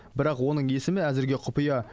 бірақ оның есімі әзірге құпия